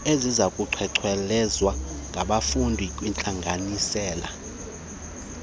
esizawucengcelezwa ngabafundi kwiintlanganisela